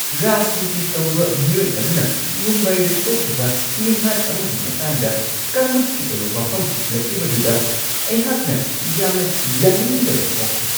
ꯔꯥꯖꯅꯤꯇꯤ ꯇꯧꯕ ꯃꯤꯑꯣꯏ ꯑꯗꯨꯅ ꯃꯨꯝꯕꯥꯏꯗ ꯊꯣꯛꯈꯤꯕ ꯃꯤꯍꯥꯠ ꯑꯃꯒꯤ ꯃꯇꯥꯡꯗ ꯀꯥꯡꯂꯨꯞꯀꯤ ꯑꯣꯏꯕ ꯋꯥꯐꯝ ꯄꯨꯁꯤꯜꯂꯛꯈꯤꯕꯗꯨꯗ ꯑꯩꯍꯥꯛꯅ ꯌꯥꯝꯅ ꯌꯥꯅꯤꯡꯗꯕ ꯐꯥꯎꯈꯤ ꯫